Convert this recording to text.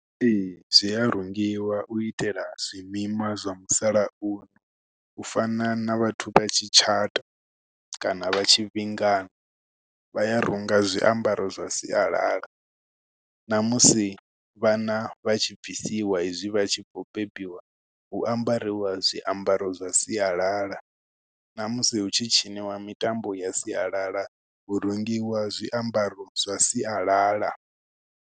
Ee, zwi a rungiwa, u itela zwimima zwa musalauno. U fana na vhathu vha tshi tshata, kana vha tshi vhingana, vha ya runga zwiambaro zwa sialala. Na musi vhana vha tshi bvisiwa hezwi vha tshi khou bebiwa, hu ambariwa zwiambaro zwa sialala, na musi hu tshi tshiniwa mitambo ya sialala, hu rungiwa zwiambaro zwa sialala.